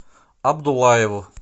абдуллаеву